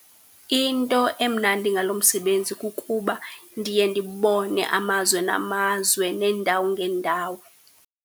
Into emnandi ngalo msebenzi kukuba ndiye ndibone amazwe namazwe neendawo ngeendawo.